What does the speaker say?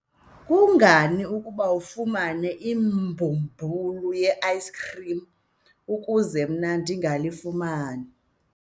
kungani ukuba afumane ibhumbulu le-ayisikhrim ukuze mna ndingalifumani?